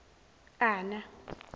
ana